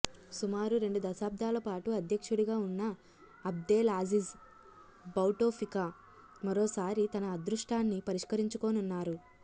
సుమారు రెండు దశాబ్దాలపాటు అధ్యక్షుడిగా ఉన్న అబ్దెలాజిజ్ భౌటొఫికా మరోసారి తన అదృష్టాన్ని పరీక్షించుకోనున్నారు